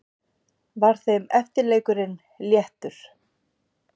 Var þeim eftirleikurinn léttur.